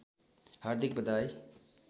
हार्दिक बधाई